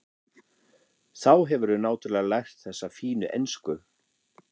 Þá hefurðu náttúrlega lært þessa fínu ensku!